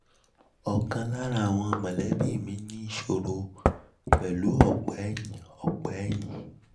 um ọ̀kan lára àwọn mọ̀lẹ́bi mi ní um ìṣòro pẹ̀lú u um ọ̀pa ẹ̀yìn ọ̀pa ẹ̀yìn